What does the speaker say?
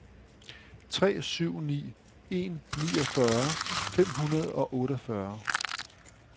tre syv ni en niogfyrre fem hundrede og otteogfyrre